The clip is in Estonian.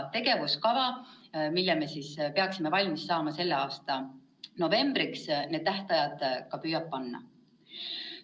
Tegevuskavas, mille peaksime valmis saama selle aasta novembriks, püütaksegi need tähtajad paika panna.